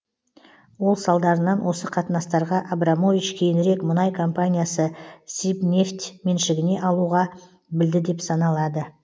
ол салдарынан осы қатынастарға абрамович кейінірек мұнай компаниясы сибнефть меншігіне алуға білді деп саналады